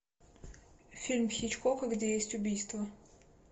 фильм хичкока где есть убийства